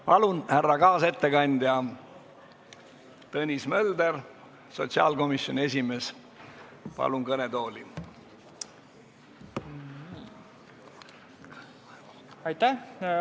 Palun, härra kaasettekandja Tõnis Mölderi, sotsiaalkomisjoni esimehe kõnetooli!